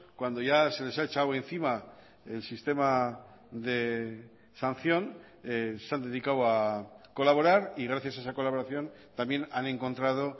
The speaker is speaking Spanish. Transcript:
cuando ya se les ha echado encima el sistema de sanción se han dedicado a colaborar y gracias a esa colaboración también han encontrado